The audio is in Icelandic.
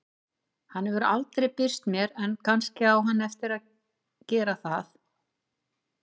Hann hefur aldrei birst mér en kannski á hann eftir að gera það.